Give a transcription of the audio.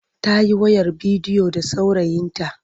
Ta yi wayar bidiyo da saurayinta.